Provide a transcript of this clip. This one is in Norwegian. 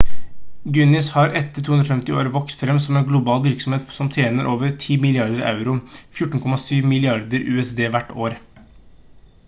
guinness har etter 250 år vokst frem som en global virksomhet som tjener over 10 milliarder euro 14,7 milliarder usd hvert år